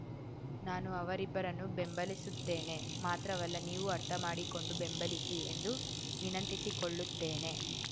ನಾನು ಅವರಿಬ್ಬರನ್ನೂ ಬೆಂಬಲಿಸುತ್ತೇನೆ ಮಾತ್ರವಲ್ಲ ನೀವೂ ಅರ್ಥ ಮಾಡಿಕೊಂಡು ಬೆಂಬಲಿಸಿ ಎಂದು ವಿನಂತಿಸಿಕೊಳ್ಳುತ್ತೇನೆ